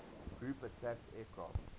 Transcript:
ground attack aircraft